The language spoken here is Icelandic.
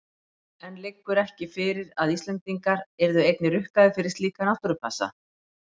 En liggur ekki fyrir að Íslendingar yrðu einnig rukkaðir fyrir slíka náttúrupassa?